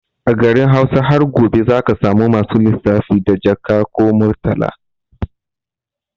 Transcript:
A garin Hausa har gobe zaka samu masu lissafi da Jaka or Murtala